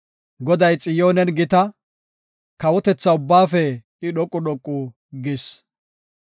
Goday Xiyoonen gita; kawotethaa ubbaafe I dhoqu dhoqu gis.